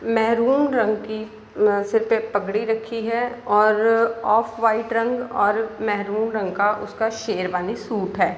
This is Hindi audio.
मैहरून रंग की अ सिर पे पगड़ी रखी है और ऑफ़ वाइट रंग और मैहरून रंग का उसका शेरवानी सूट है।